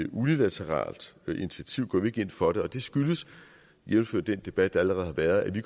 unilateralt initiativ går vi ikke ind for det og det skyldes jævnfør den debat der allerede har været at vi